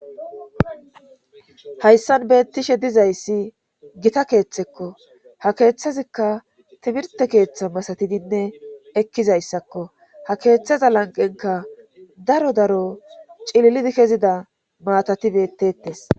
hayssan beettishe dizayssi gita keeththekko. ha keeththazikka timirte keeththa masatidinne ekkizayssakko. ha keeththaza lanqenka daro daro cililidi kezida maatati betetes.